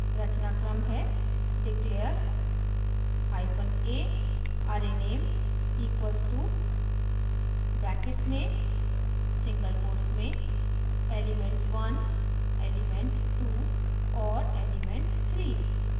रचनाक्रम है declare hyphen a arrayname equal to brackets में single quotes में element1 element2 और element3